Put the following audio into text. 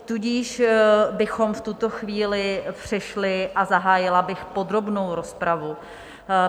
Tudíž bychom v tuto chvíli přešli a zahájila bych podrobnou rozpravu.